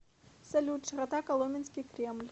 салют широта коломенский кремль